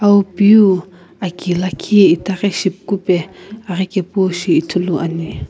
awu piu aki lakhi itaghi shipukupe aghikepu shi ithuluani.